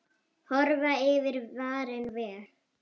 Horfa yfir farinn veg.